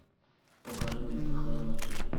покажи мне кхл на тв